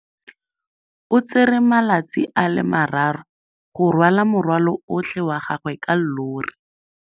O tsere malatsi a le marraro go rwala morwalo otlhe wa gagwe ka llori.